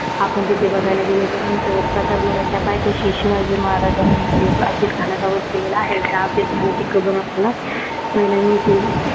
आपण तेथे बघायला गेल्याच्या नंतर प्रतापगडाच्या पायथ्याशी, शिवाजी महाराजांनी अफजलखानचा वध केलेला आहे. त्या अफजलखानची कबर आपल्याला पाहायला मिळते.